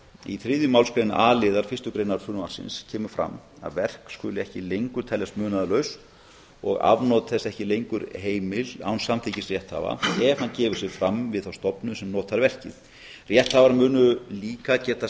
í þriðju málsgrein a liðar fyrstu greinar frumvarpsins kemur fram að verk skuli ekki lengur teljast munaðarlaus og afnot þess ekki lengur heimil án samþykkis rétthafa ef hann gefur sig fram við þá stofnun sem notað verkið rétthafar munu líka geta